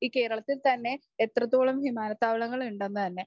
ഈ കേരളത്തിൽ തന്നെ എത്രത്തോളം വിമാനത്താവളങ്ങൾ ഉണ്ടെന്നു തന്നെ.